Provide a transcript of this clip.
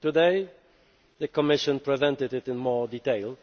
Today the Commission presented the plan in more detail.